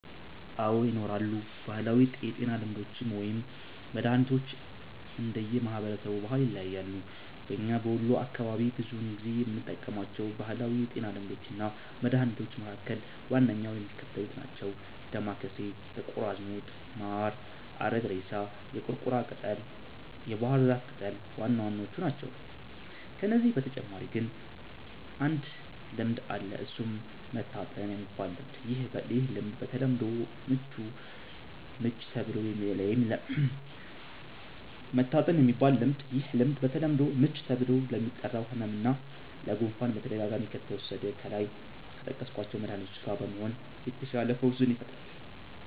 አዎ! ይኖራሉ። ባህላዊ የጤና ልምዶች ወይም መድሀኒቶች እንደየ ማህበረሰቡ ባህል ይለያያሉ። በኛ በወሎ አካባቢ ብዙውን ጊዜ የምንጠቀማቸው ባህላዊ የጤና ልምዶች እና መድሀኒቶች መካከል ዋነኛዎቹ የሚከተሉት ናቸው። ዳማከሴ፣ ጥቁር አዝሙድ፣ ማር፣ አረግሬሳ፣ የቁርቁራ ቅጠል፣ የባህር ዛፍ ቅጠል ዋናዎቹ ናቸው። ከነዚህ በተጨማሪ ግን አንድ ልምድ አለ እሱም "መታጠን"የሚባል ልምድ፤ ይህ ልምድ በተለምዶ "ምች" ተብሎ ለሚጠራው ህመም እና ለ"ጉፋን"በተደጋጋሚ ከተወሰደ ከላይ ከጠቀስኳቸው መድሀኒቶች ጋ በመሆን የተሻለ ፈውስን ይፈጥራል።